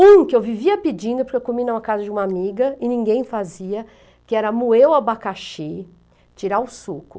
Um que eu vivia pedindo, porque eu comi na casa de uma amiga e ninguém fazia, que era moer o abacaxi, tirar o suco.